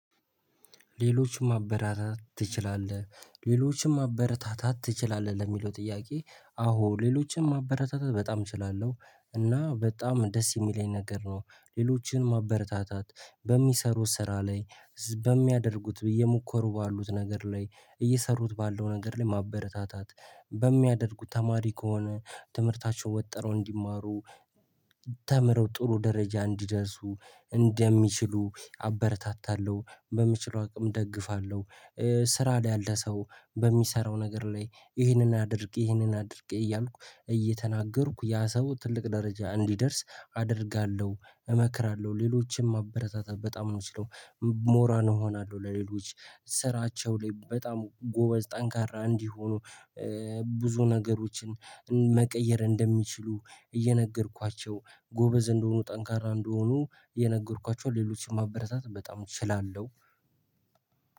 ሌሎችም ማበረታታት ትችላለህ ሌሎችም ማበረታታት ትችላለህ ለሚለው ጥያቄ አዎ ሌሎችን ማበረታታት በጣም እችላለሁ እና በጣም ደስ የሚለኝ ነገር ነው። ሌሎችን ማበረታታት በሚሰሩት ስራ ላይ በሚያደርጉት ብዬ በመከሩት ባሉት ነገር ላይ እየሰሩት ባለው ነገር ላይ ማበረታታት በሚያደርጉት ተማሪ ከሆነ ትምህርታቸው ወጠረው እንዲማሩ ተምረው ጥሩ ደረጃ እንዲደርሱ እንደሚችሉ አበረታታለሁ በምችለው አቅም እደግፋለሁ። ስራ ላይ ያለ ሰው በሚሰራው ነገር ላይ ይህንን አድርጌ ይህንን አድርጌ እያልኩ እየተናገርኩ ያ ሰው ትልቅ ደረጃ እንዲደርስ አደርጋለሁ እመክራለሁ ሌሎችም አበረታታት በጣም ነው የምችለው። ሞራል እሆናለሁ ለሌሎች ስራቸው ላይ በጣም ጎበዝ ጠንካራ እንዲሆኖ። ብዙ ነገሮችን መቀየር እንደሚችሉ እየነገርኳቸው ጎበዝ እንደሆኑ ጠንካራ እንደሆኑ እየነገርኳቸውን ሌሎችን ማበረታት በጣም እችላለሁ።